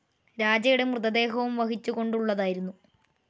രാജയുടെ മൃതദേഹവും വഹിച്ചു കൊണ്ടുള്ളതായിരുന്നു